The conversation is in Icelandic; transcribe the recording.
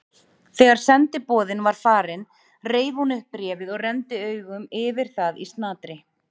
Þegar sendiboðinn var farinn reif hún upp bréfið og renndi augum yfir það í snatri.